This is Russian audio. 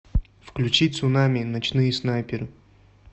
включи цунами ночные снайперы